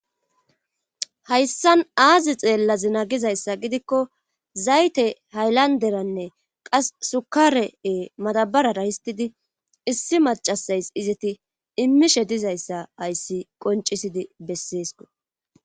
hayssan aazi xeellazina gizayssa gidikko zayte haylanderanne qas sukare7e matabarara histidi issi macasays izeti immishe dizayssa hayssi qoncisidi besseesko.